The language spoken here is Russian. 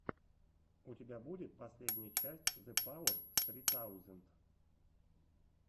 у тебя будет последняя часть зэпауэрс ссри таузенд